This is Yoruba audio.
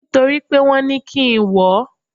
Nítorí pé wọn ní kí n wọ̀ ọ́.